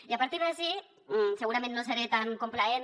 i a partir d’ací segurament no seré tan complaent